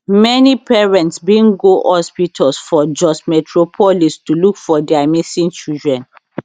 many parents bin go hospitals for jos metropolis to look for dia missing children